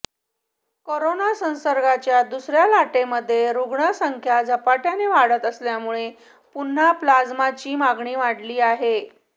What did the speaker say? corona संसर्गाच्या दुसऱ्या लाटेमध्ये रुग्णसंख्या झपाट्याने वाढत असल्यामुळे पुन्हा प्लाझ्माची मागणी वाढली आहे